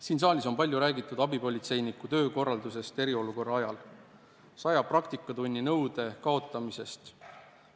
Siin saalis on palju räägitud abipolitseinike töö korraldamisest eriolukorra ajal ja sajatunnise praktika nõude kaotamisest.